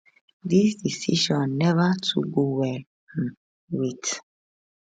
dis decision neva too go well um wit